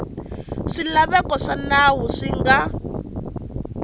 swilaveko swa nawu swi nga